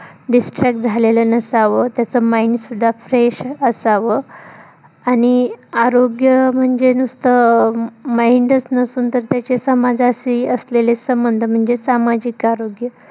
distract झालेलं नसावं. त्याच mind सुद्धा fresh असावं आणि आरोग्य म्हणजे नुसतं mind च नसून तर त्याचे समाजाशी असलेले संबंध म्हणजे सामाजिक आरोग्य